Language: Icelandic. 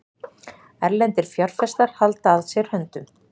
Erlendir fjárfestar halda að sér höndum